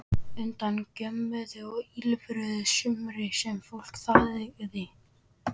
Hundar gjömmuðu og ýlfruðu sumir en fólk þagði.